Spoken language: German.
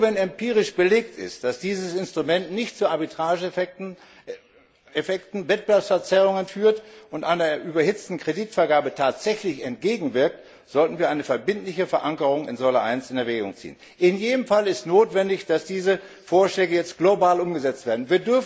Nur wenn empirisch belegt ist, dass dieses Instrument nicht zu Arbitrageeffekten und Wettbewerbsverzerrungen führt und einer überhitzten Kreditvergabe tatsächlich entgegenwirkt, sollten wir eine verbindliche Verankerung in Säule I in Erwägung ziehen. In jedem Fall ist es notwendig, dass diese Vorschläge jetzt global umgesetzt werden.